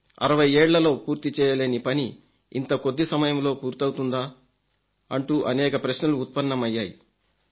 60 ఏళ్లలో పూర్తి చేయలేని పని ఇంత కొద్ది సమయంలో పూర్తవుతుందా అంటూ అనేక ప్రశ్నలు ఉత్పన్నమయ్యాయి